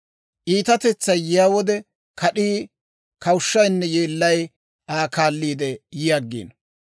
Iitatetsay yiyaa wode, kad'ii, kawushshaynne yeellay Aa kaalliide yi aggiino.